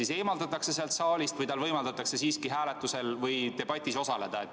Kas ta eemaldatakse saalist või võimaldatakse tal siiski hääletusel või debatis osaleda?